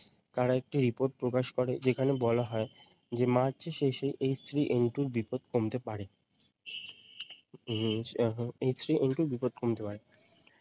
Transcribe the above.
তারা একটি report প্রকাশ করে যেখানে বলা হয় যে মার্চের শেষে H three N two বিপদ কমতে পারে। উম এখন H three N two এর বিপদ কমতে পারে।